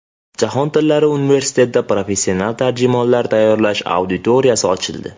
Jahon tillari universitetida professional tarjimonlar tayyorlash auditoriyasi ochildi.